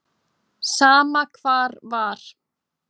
Sama hvar var.